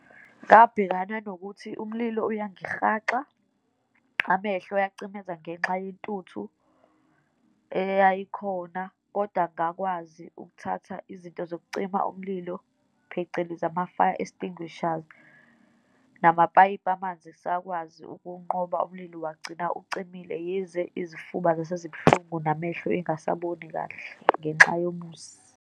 Ngabhekana nokuthi umlilo uyangihaxa, amehlo ayacimeza ngenxa yentuthu eyayikhona, kodwa ngakwazi ukuthatha izinto zokucima umlilo, phecelezi ama-fire extinguishers, namapayipi amanzi sakwazi ukuwunqoba umlili wagcina ucimile, yize izifuba zasezibuhlungu, namehlo engasaboni kahle ngenxa yomusi.